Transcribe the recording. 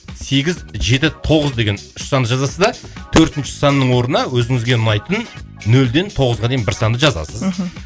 сегіз жеті тоғыз деген үш санды жазасыз да төртінші санның орнына өзіңізге ұнайтын нөлден тоғызға дейін бір санды жазасыз мхм